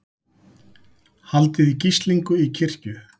Haldið í gíslingu í kirkju